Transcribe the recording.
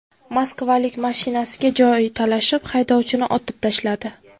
Moskvalik mashinasiga joy talashib, haydovchini otib tashladi.